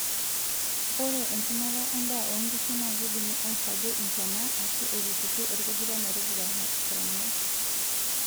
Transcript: Ore enchumata endaa onkishu naakeidimi airagie intona eshuu eitururi orkujita metupurupuranai.